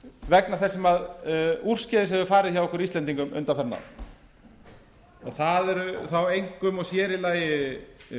vegna þess sem úrskeiðis hefur farið hjá okkur íslendingum undanfarin ár það eru þá einkum og sér í lagi